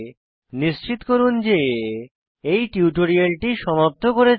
নিশ্চিত করুন যে এগোনোর আগে এই টিউটোরিয়ালটি সমাপ্ত করেছেন